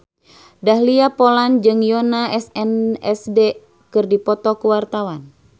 Dahlia Poland jeung Yoona SNSD keur dipoto ku wartawan